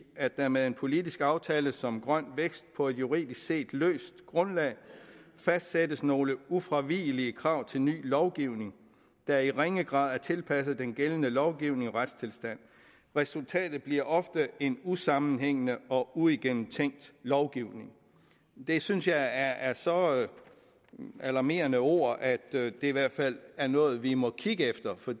at der med en politisk aftale som grøn vækst på et juridisk set løst grundlag fastsættes nogle ufravigelige krav til ny lovgivning der i ringe grad er tilpasset den gældende lovgivning og retstilstand resultatet bliver ofte en usammenhængende og uigennemtænkt lovgivning det synes jeg er så alarmerende ord at det i hvert fald er noget vi må kigge efter for